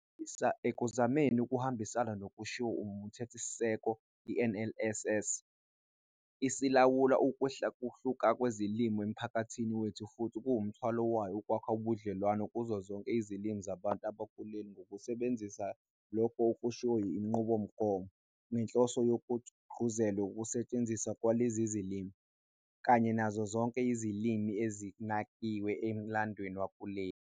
Ekuzameni ukuhambisana nokushiwo uMthethosisekelo i-NLS ilawula ukwehlukahluka kwezilimi emphakathini wethu futhi kuwumthwalo wayo ukwakha ubudlelwano kuzo zonke izilimi zabantu bakuleli ngokusebenzisa lokho okushiwo yinqubomgomo ngenhloso yokuthi kugqugquzelwe ukusentshenziswa kwalezi zilimi, kanye nazo zonke izilimi ebezinakiwe emlandweni wakuleli.